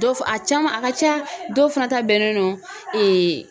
Dɔw fa a caman a ka ca dɔw fana ta bɛnnen no ee